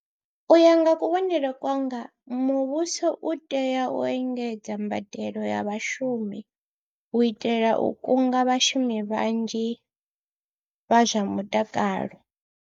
U ya nga kuvhonele kwanga muvhuso u tea u engedza mbadelo ya vhashumi u itela u kunga vhashumi vhanzhi vha zwa mutakalo.